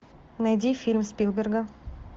найди фильм спилберга